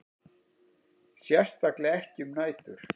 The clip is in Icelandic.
Sérstaklega ekki um nætur.